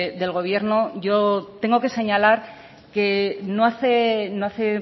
del gobierno yo tengo que señalar que no hace